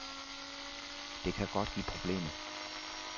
Det kan godt give problemer.